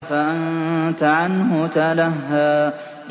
فَأَنتَ عَنْهُ تَلَهَّىٰ